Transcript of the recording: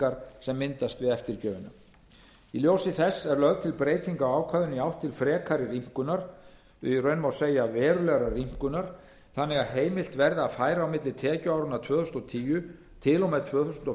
tekjuskattsskuldbindingar sem myndast við eftirgjöfina í ljósi þess er lögð til breyting á ákvæðinu í átt til frekari rýmkunar í raun má segja verulegrar rýmkunar þannig að heimilt verði að færa á milli tekjuáranna tvö þúsund og tíu til og með tvö þúsund og